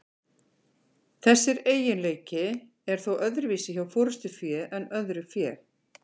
Þessi eiginleiki er þó öðruvísi hjá forystufé en öðru fé.